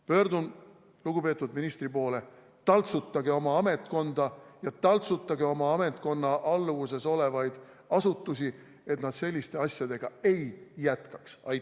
Pöördun lugupeetud ministri poole: taltsutage oma ametkonda ja taltsutage oma ametkonna alluvuses olevaid asutusi, et nad selliste asjadega ei jätkaks!